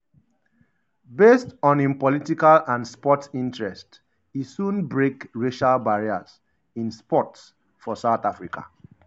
based on im political and sport interest e soon break um racial barriers um in sport for south africa.